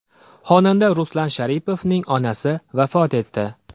Xonanda Ruslan Sharipovning onasi vafot etdi.